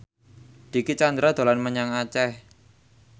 Dicky Chandra dolan menyang Aceh